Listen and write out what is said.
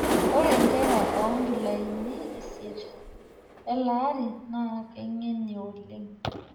Ore nkera oonkilaini isiet elaari naa keing'eni oleng'.